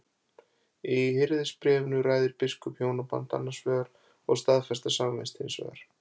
Í Hirðisbréfinu ræðir biskup hjónaband annars vegar og staðfesta samvist hins vegar.